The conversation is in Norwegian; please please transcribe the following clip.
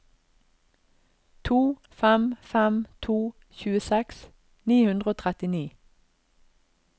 to fem fem to tjueseks ni hundre og trettini